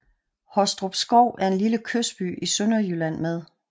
Hostrupskov er en lille kystby i Sønderjylland med